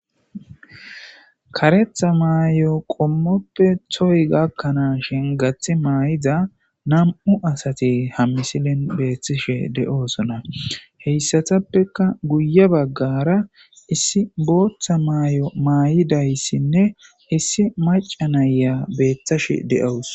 karetha maayo qommoppe toy gakkanaa shin gathi maay7iza nam7u asati ha misilin beeththishe de7oosona heyssatappeka guye baggara issi booththa maay7o maay7idayssinne issi maca nayya beeththashe deous